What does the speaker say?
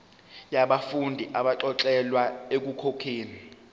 yabafundi abaxolelwa ekukhokheni